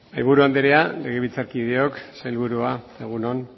mahaiburu andrea legebiltzarkideok sailburua egun on